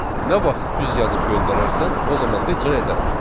Nə vaxt düz yazıb göndərərsən, o zaman da icra edərəm.